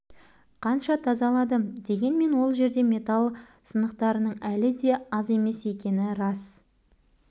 қанша тазаладым дегенмен ол жерде металл сынықтарының әлі де аз емес екені рас